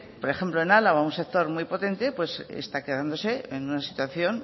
por ejemplo en álava un sector un potente está quedándose en una situación